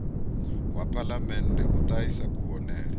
wa phalamennde u ṱahisa kuvhonele